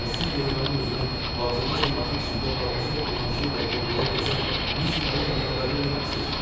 Məyər siz generalın özünü vağzada camaatın içində Madmazel Blanşe ilə qol-qola gəzən Miss Polinanı xəbərdar eləməmisiz?